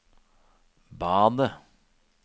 badet